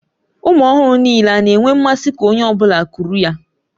Ụmụ ọhụrụ niile a na-enwe mmasị ka onye ọ bụla kuru ya?